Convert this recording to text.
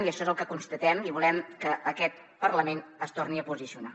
i això és el que constatem i volem que aquest parlament s’hi torni a posicionar